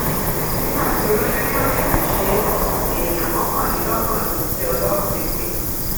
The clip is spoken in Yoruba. nígbà tí olójú yóò sì fi ṣe é èèyàn mọkànlélọgbọn ló ti jẹ ọlọrun nípè